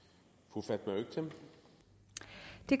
og som